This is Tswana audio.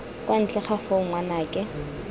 kwa ntle ga foo ngwanake